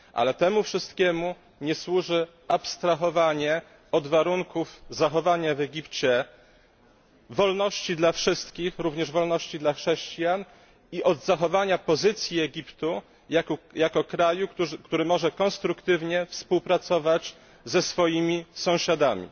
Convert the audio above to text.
Ale temu wszystkiemu nie służy abstrahowanie od warunków zachowania w Egipcie wolności dla wszystkich, również wolności dla chrześcijan, i od zachowania pozycji Egiptu jako kraju, który może konstruktywnie współpracować ze swoimi sąsiadami.